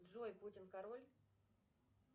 джой путин король